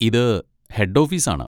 ഇത് head office ആണ്.